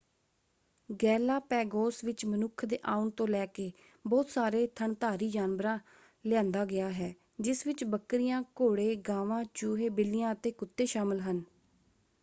Galapagos ਵਿੱਚ ਮਨੁੱਖ ਦੇ ਆਉਣ ਤੋਂ ਲੈ ਕੇ ਬਹੁਤ ਸਾਰੇ ਥਣਧਾਰੀ ਜਾਨਵਰਾਂ ਲਿਆਂਦਾ ਗਿਆ ਹੈ ਜਿਸ ਵਿੱਚ ਬੱਕਰੀਆਂ ਘੋੜੇ ਗਾਵਾਂ ਚੂਹੇ ਬਿੱਲੀਆਂ ਅਤੇ ਕੁੱਤੇ ਸ਼ਾਮਲ ਹਨ।